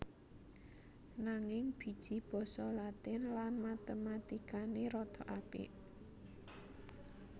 Nanging biji basa Latin lan Matematikane rada apik